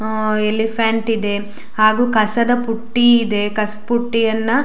ಅಹ್ elephant ಇದೆ ಹಾಗು ಕಸದ ಬುಟ್ಟಿ ಇದೆ ಕಸ್ ಬುಟ್ಟಿಯನ್ನ --